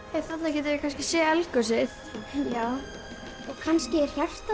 þarna getum við kannski séð eldgosið já kannski er hjartað